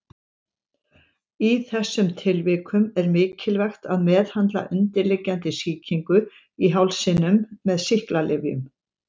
Í þessum tilvikum er mikilvægt að meðhöndla undirliggjandi sýkingu í hálsinum með sýklalyfjum.